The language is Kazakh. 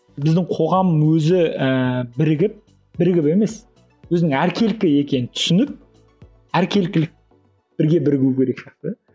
біздің қоғам өзі ііі бірігіп бірігіп емес өзінің әркелкі екенін түсініп әркелкілік бірге бірігу керек сияқты